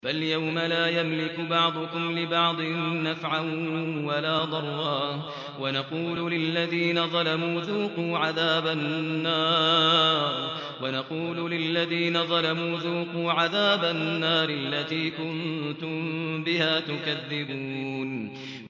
فَالْيَوْمَ لَا يَمْلِكُ بَعْضُكُمْ لِبَعْضٍ نَّفْعًا وَلَا ضَرًّا وَنَقُولُ لِلَّذِينَ ظَلَمُوا ذُوقُوا عَذَابَ النَّارِ الَّتِي كُنتُم بِهَا تُكَذِّبُونَ